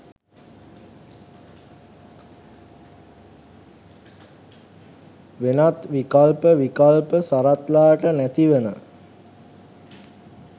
වෙනත් විකල්ප විකල්ප සරත්ලාට නැතිවන